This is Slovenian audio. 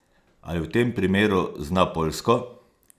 Ali v tem primeru zna poljsko?